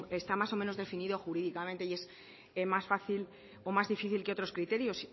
está más o menos definido jurídicamente y es más fácil o más difícil que otros criterios